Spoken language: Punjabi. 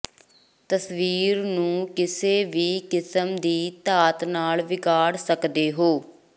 ਤਸਵੀਰਾਂ ਨੂੰ ਕਿਸੇ ਵੀ ਕਿਸਮ ਦੀ ਧਾਤ ਨਾਲ ਵਿਗਾੜ ਸਕਦੇ ਹੋ